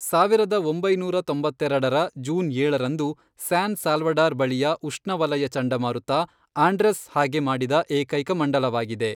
ಸಾವಿರದ ಒಂಬೈನೂರ ತೊಂಬತ್ತೆರೆಡರ ಜೂನ್ ಏಳರಂದು, ಸ್ಯಾನ್ ಸಾಲ್ವಡಾರ್ ಬಳಿಯ ಉಷ್ಣ ವಲಯ ಚಂಡಮಾರುತ, ಆಂಡ್ರೆಸ್ ಹಾಗೆ ಮಾಡಿದ ಏಕೈಕ ಮಂಡಲವಾಗಿದೆ.